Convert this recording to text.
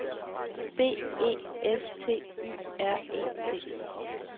B E S T Y R E T